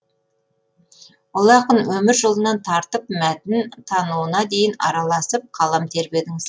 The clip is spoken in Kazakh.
ұлы ақын өмір жолынан тартып мәтін тануына дейін араласып қалам тербедіңіз